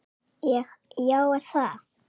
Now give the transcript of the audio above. Ég: Já er það?